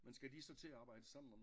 Men skal de så til at arbejde sammen om